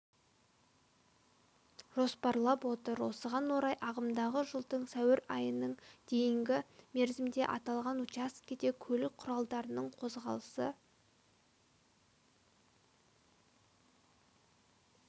жоспарлап отыр осыған орай ағымдағы жылдың сәуір айының дейінгі мерзімде аталған учаскеде көлік құралдарының қозғалысы